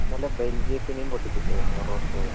ഇന്നലെ ബെൽജിയത്തിനിം പൊട്ടിച്ചിട്ട് മൊറോക്കോ